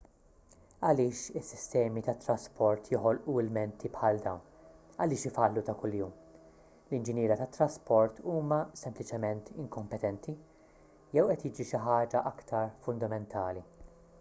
għaliex is-sistemi tat-trasport joħolqu ilmenti bħal dawn għaliex ifallu ta' kuljum l-inġiniera tat-trasport huma sempliċiment inkompetenti jew qed jiġri xi ħaġa aktar fundamentali